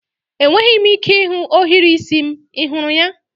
Enweghị m ike ịhụ ohiri isi m, ị hụrụ ya?